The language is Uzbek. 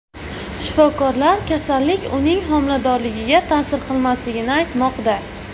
Shifokorlar kasallik uning homiladorligiga ta’sir qilmasligini aytmoqda.